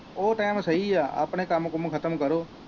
ਉਹ time ਸਹੀ ਹੈ ਆਪਣੇ ਕੰਮ ਕੁੰਮ ਖਤਮ ਕਰੋ।